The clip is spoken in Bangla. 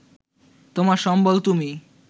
তোমার সম্বল তুমি